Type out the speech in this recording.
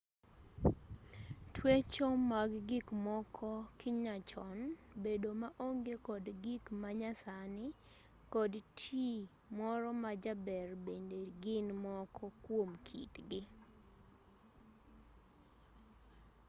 twecho mag gikmoko kinyachon bedo maonge kod gik manyasani kod tii moro ma jaber bende gin moko kuom kitgi